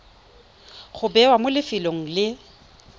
go bewa mo lefelong le